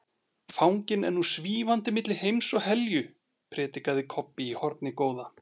Fanginn er nú SVÍFANDI MILLI HEIMS OG HELJU, predikaði Kobbi í hornið góða.